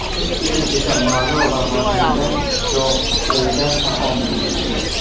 Biz uchun esa ma’no va mazmunga yo‘g‘rilgan taomdir.